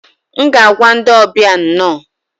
M ga-agwa ndị ọbịa 'nno'